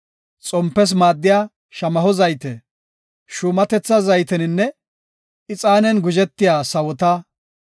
xompes maaddiya shamaho zayte, shuumatetha zayteninne ixaanen guzhetiya sawota,